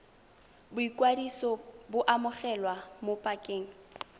boikwadiso bo amogelwa mo pakeng